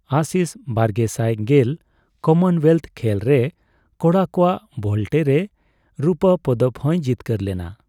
ᱟᱥᱤᱥ ᱵᱟᱨᱜᱮᱥᱟᱭ ᱜᱮᱞ ᱠᱚᱢᱚᱱᱳᱭᱮᱹᱞ ᱠᱷᱮᱹᱞ ᱨᱮ ᱠᱚᱲᱟ ᱠᱚᱣᱟᱜ ᱵᱷᱳᱞᱴᱮ ᱨᱮ ᱨᱩᱯᱟᱹ ᱯᱚᱫᱚᱠ ᱦᱚᱭ ᱡᱤᱛᱠᱟᱹᱨ ᱞᱮᱱᱟ ᱾